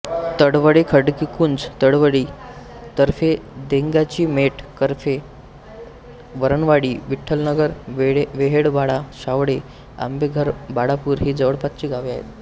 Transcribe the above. तळवडे खडकीकुंज तळवली तर्फे देंगाचीमेट कर्हे वरणवाडी विठ्ठलनगर वेहेळपाडा शावटे आंबेघरबाळापूर ही जवळपासची गावे आहेत